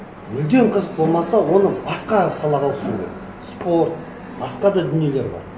мүлдем қызық болмаса оны басқа салаға ауыстыру керек спорт басқа да дүниелер бар